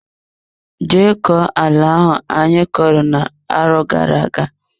Je koo ala ahụ anyo kọrọ na arọ gara aga!